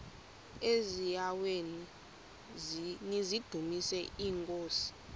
eziaweni nizidumis iinkosi